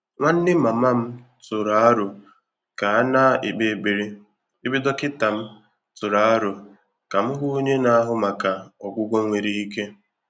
Nwánnè màmá m tụ́rụ̀ àrò kà á nà-ékpé ékpèré, ébé dọ́kị́tà m tụ́rụ̀ àrò kà m hụ́ ọ́nyé nà-àhụ́ màkà ọ́gwụ́gwọ́ nwèrè íké.